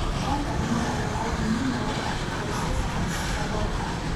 Gargaarka cunnada ayaa aad muhiim ugu ah qoysaska saboolka ah.